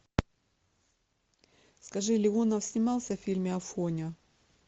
скажи леонов снимался в фильме афоня